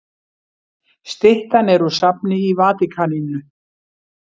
Styttan er úr safni í Vatíkaninu.